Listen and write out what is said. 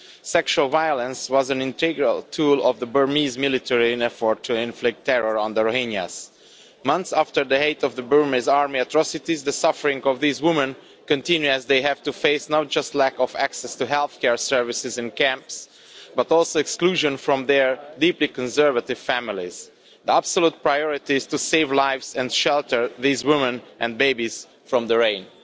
Sexual violence was an integral tool of the Burmese military in its effort to inflict terror on the Rohingyas. Months after the height of the Burmese army's atrocities, the suffering of these women continues, as they have to face not just a lack of access to healthcare services in the camps, but also exclusion from their deeply conservative families. The absolute priority is to save lives and to shelter these women and babies from the rains.